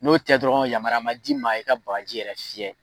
N'o tɛ dɔrɔn yamaruya ma di ma, i ka bakaji fiyɛ